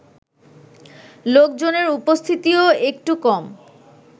লোকজনের উপস্থিতিও একটু কম